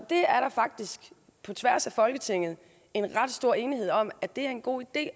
er faktisk på tværs af folketinget en ret stor enighed om at det er en god idé